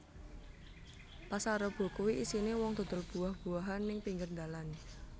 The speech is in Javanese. Pasar Rebo kui isine wong dodol buah buahan ning pinggir ndalan